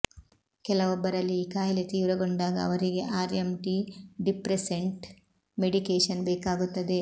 ಕೆಲವೊಬ್ಬರಲ್ಲಿ ಈ ಕಾಯಿಲೆ ತೀವ್ರಗೊಂಡಾಗ ಅವರಿಗೆ ಆ್ಯಂಟಿ ಡಿಪ್ರೆಸ್ಸೆಂಟ್ ಮೆಡಿಕೇಶನ್ ಬೇಕಾಗುತ್ತದೆ